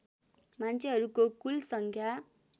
मान्छेहरूको कुल सङ्ख्या